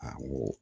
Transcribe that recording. A ko